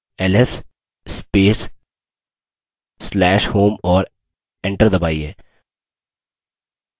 ls space/slash home और enter दबाइए